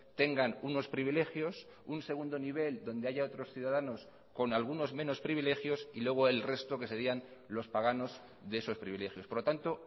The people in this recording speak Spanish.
tengan unos privilegios un segundo nivel donde haya otros ciudadanos con algunos menos privilegios y luego el resto que serían los paganos de esos privilegios por lo tanto